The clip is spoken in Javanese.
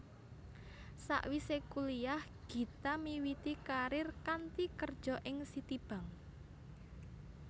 Sawisé kuliyah Gita miwiti karir kanthi kerja ing Citibank